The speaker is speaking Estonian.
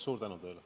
Suur tänu!